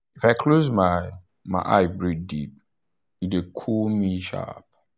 if i close my my eye breathe deep e dey cool me sharp.